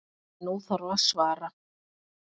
En nú þarf að svara.